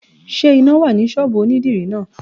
Is there light at the salon?